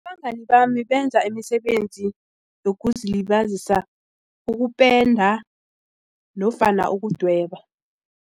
Abangani bami benza imisebenzi yokuzilibazisa ukupenda nofana ukudweba.